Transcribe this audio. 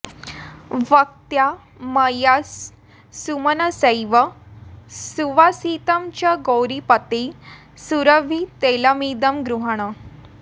भक्त्या मया सुमनसैव सुवासितं च गौरीपते सुरभि तैलमिदं गृहाण